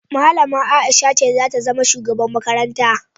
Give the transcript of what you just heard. Malama Aisha ce zata zama shugaban makarantar